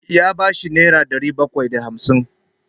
Ya ba shi nera ɗari bakwai da hamsin.